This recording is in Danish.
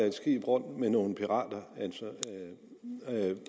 et skib rundt med nogle pirater